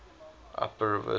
upper reserve gold